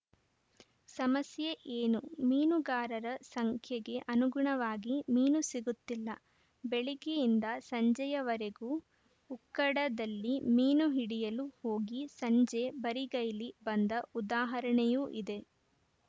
ಸಮಸ್ಯೆ ಏನು ಮೀನುಗಾರರ ಸಂಖ್ಯೆಗೆ ಅನುಗುಣವಾಗಿ ಮೀನು ಸಿಗುತಿಲ್ಲ ಬೆಳಿಗ್ಗೆಯಿಂದ ಸಂಜೆಯವರೆಗೂ ಉಕ್ಕಡದಲ್ಲಿ ಮೀನು ಹಿಡಿಯಲು ಹೋಗಿ ಸಂಜೆ ಬರಿಗೈಲಿ ಬಂದ ಉದಾಹರಣೆಯೂ ಇದೆ